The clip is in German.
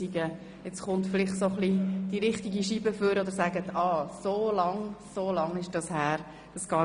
Vielleicht kommt jetzt die «richtige Scheibe» hervor und Sie realisieren, wie lange das her ist.